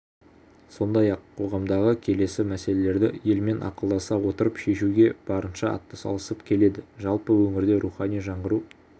сондай-ақ қоғамдағы келелі мәселелерді елмен ақылдаса отырып шешуге барынша атсалысып келеді жалпы өңірде рухани жаңғыру